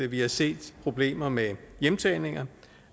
vi har set problemer med hjemtagninger